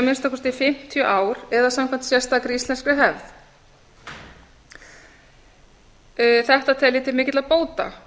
minnsta kosti fimmtíu ár eða samkvæmt sérstakri íslenskri hefð þetta tel ég til mikilla bóta